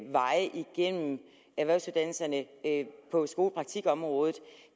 veje igennem erhvervsuddannelserne på skolepraktikområdet